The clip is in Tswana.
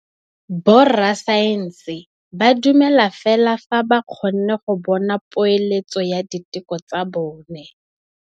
Borra saense ba dumela fela fa ba kgonne go bona poeletsô ya diteko tsa bone.